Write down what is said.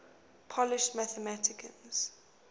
polish mathematicians